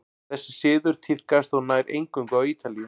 þessi siður tíðkaðist þó nær eingöngu á ítalíu